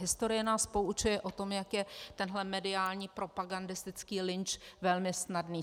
Historie nás poučuje o tom, jak je tenhle mediální propagandistický lynč velmi snadný.